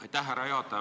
Aitäh, härra juhataja!